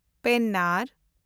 ᱯᱮᱱᱟᱨ